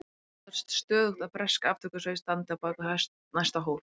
Óttast stöðugt að bresk aftökusveit standi á bak við næsta hól.